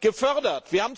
gefördert.